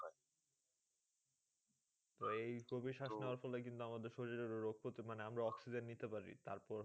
তো এই গভীর শ্বাস নেওয়ার ফলে কিন্তু আমাদের শরীরের রোগ পতিরোধ মানে আমরা oxygen নিতে পারি। তারপর